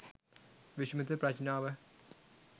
විශ්මිත ප්‍රඥාව